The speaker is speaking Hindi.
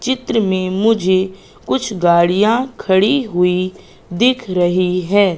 चित्र में मुझे कुछ गाड़ियां खड़ी हुई दिख रही है।